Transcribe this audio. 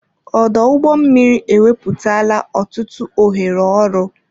Ọdụ ụgbọ mmiri ewepụtala ọtụtụ ohere ọrụ.